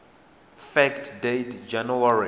fact date january